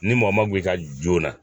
Ni man joona.